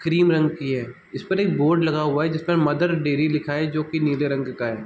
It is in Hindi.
क्रीम रंग की है जिस पर एक बोर्ड लगा हुआ है | जिस पर मदर डेयरी लिखा है जो की नीले रंग का है |